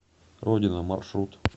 родина маршрут